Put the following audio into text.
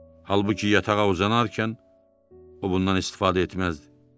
Halbuki yatağa uzanarkən o bundan istifadə etməzdi.